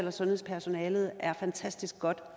at sundhedspersonalet er fantastisk godt